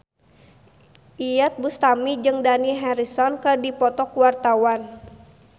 Iyeth Bustami jeung Dani Harrison keur dipoto ku wartawan